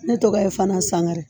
Ne tɔgɔ ye FANTA SANGARE.